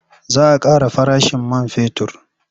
Za a ƙara farashin man fetur.